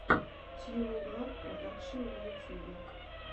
тьюнинглаб продакшн на ютубе